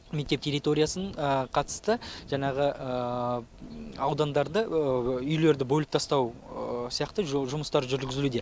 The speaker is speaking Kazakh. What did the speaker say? мектеп территориясын қатысты жаңағы аудандарды үйлерді бөліп тастау сияқты жұмыстар жүргізілуде